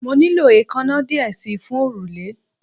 Mo nilo eekanna diẹ sii fun orule